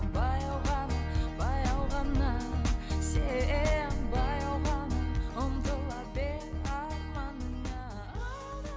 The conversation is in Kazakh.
баяу ғана баяу ғана сен баяу ғана ұмтыла арманыңа